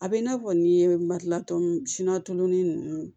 A bɛ i n'a fɔ n'i ye malila tɔ sina tulonin ninnu